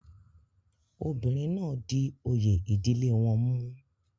obìnrin náà di oyè ìdílé wọn mú